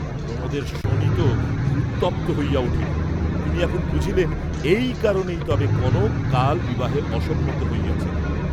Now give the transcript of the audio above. প্রমোদের শোণিত উত্তপ্ত হইয়া উঠিল, তিনি এখন বুঝিলেন এই কারণেই তবে কনক কাল বিবাহে অসম্মত হইয়াছিল।